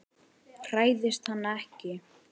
Hræðist hana ekki.